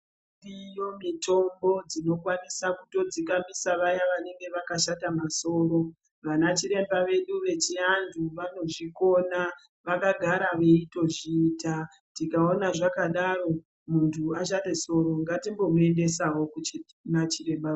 Dziriyo mitombo dzinokwanisa kutodzikamisa vaya vanenge vakashata masoro . Vanachiremba vedu vechianhu vanozvikona. Vakagara veitozviita. Tikaona zvakadaro muntu ashate soro ngatimbomuendesawo kuchiti kuna chiremba.